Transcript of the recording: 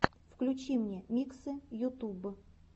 включи мне миксы ютуб